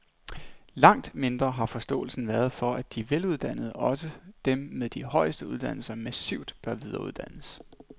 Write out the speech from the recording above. Langt mindre har forståelsen været for, at de veluddannede, også dem med de højeste uddannelser, massivt bør videreuddannes.